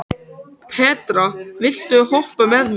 Petra, viltu hoppa með mér?